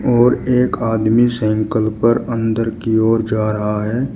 और एक आदमी साइकिल पर अंदर की ओर जा रहा है।